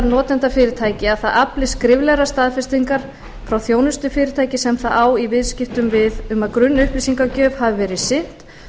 notendafyrirtæki að það afli skriflegrar staðfestingar frá þjónustufyrirtæki sem það á í viðskiptum við um að grunnupplýsingagjöf hafi verið sinnt